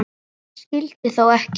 Hann skyldi þó ekki.